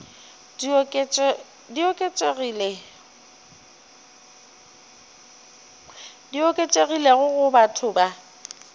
di oketšegilego go batho ba